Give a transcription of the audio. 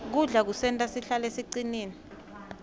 kudla kusenta sihlale sicinile